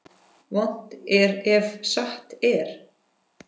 Vont er ef satt er.